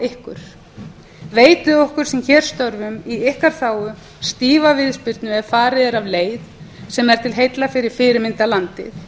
ykkur veitið okkur sem hér störfum í ykkar þágu stífa viðspyrnu ef farið er af leið sem er til heilla fyrir fyrirmyndarlandið